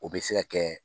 O bɛ se ka kɛ